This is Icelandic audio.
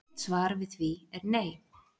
Mitt svar við því er nei.